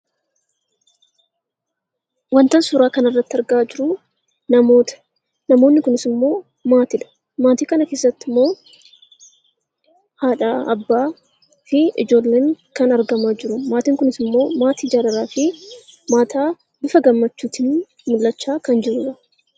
Wantan suuraa kanarratti argaa jiru namoota. Namoonni kunis immoo maatiidha. Maatii kana keessatti immoo haadha, abbaa fi ijoolleen kan argamanidha. Maatiin kunis immoo maatii jaalalaa fi maatii bifa gammachuutiin mul'achaa kan jirudha.